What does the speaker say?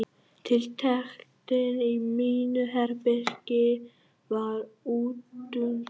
Tiltektin í mínu herbergi varð útundan.